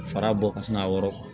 Fara bɔ ka sin ka wɔrɔn